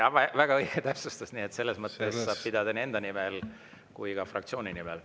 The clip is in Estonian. Jaa, väga õige täpsustus, selles mõttes, et kuna on teine lugemine, siis saab kõnet pidada nii enda nimel kui ka fraktsiooni nimel.